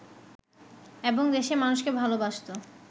এবং দেশের মানুষকে ভালবাসত